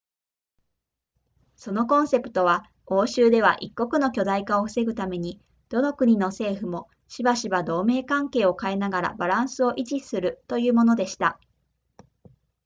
そのコンセプトは欧州では一国の強大化を防ぐためにどの国の政府もしばしば同盟関係を変えながらバランスを維持するというものでした